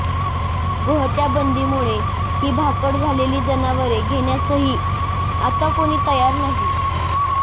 गोहत्या बंदीमुळे ही भाकड झालेली जनावरे घेण्यासही आता कोणी तयार नाही